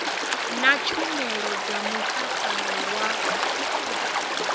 na tshumelo dza mutakalo wa